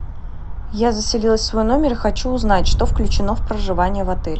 я заселилась в свой номер и хочу узнать что включено в проживание в отеле